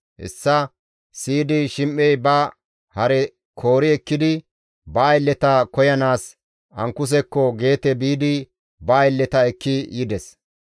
Hessa siyidi Shim7ey ba hare koori ekkidi ba aylleta koyanaas Ankusekko Geete biidi ba aylleta ekki yides.